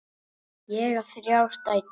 Ég á þrjár dætur.